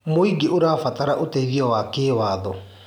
Mũingĩ ũrabatara ũteithio wa kĩwatho.